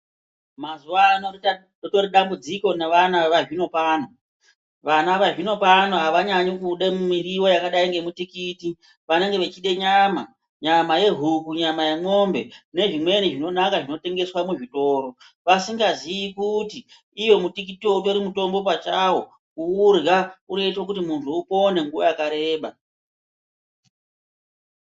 Mazuvano ritori dambudziko navana vazvinopano. Vana vazvinopano havanyanyi kude mirivo yakadai ngemutikiti. Vanenge vachide nyama. Nyama yehuku, nyama yemwombe nezvimweni zvinonaka zvinotengeswa muzvitoro, Vasingaziyi kuti iwo mutikiti utori mutombo pachawo. Kuurya kunoito kuti muntu upone nguva yakareba.